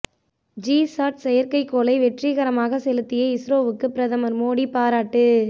G chat செயற்கைக்கோளை வெற்றிகரமாக செலுத்திய இஸ்ரோவுக்கு பிரதமர் மோடி பாராட்டு